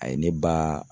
A ye ne ba